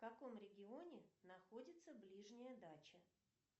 в каком регионе находится ближняя дача